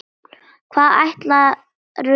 Hvað ætlarðu að læra?